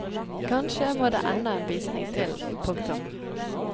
Kanskje må det enda en visning til. punktum